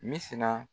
Misira